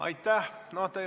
Aitäh!